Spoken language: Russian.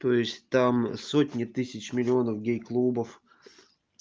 то есть там сотни тысяч миллионов гей клубов